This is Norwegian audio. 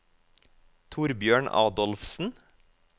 Torbjørn Adolfsen